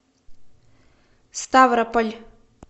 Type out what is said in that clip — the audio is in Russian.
ставрополь